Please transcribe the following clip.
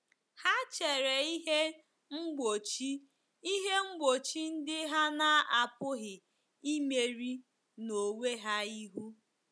Ha chere ihe mgbochi ihe mgbochi ndị ha na-apụghị imeri n'onwe ha ihu.